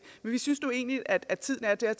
men vi synes nu egentlig at at tiden er der